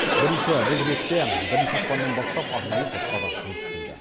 бірінші бұл ретте бірінші ақпаннан бастап арнайы топтар жұмыс істейді